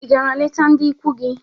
Ị gara leta ndị ikwu gị?